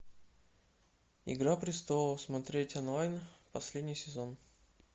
игра престолов смотреть онлайн последний сезон